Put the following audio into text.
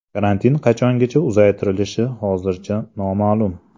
Karantin qachongacha uzaytirilishi hozircha noma’lum.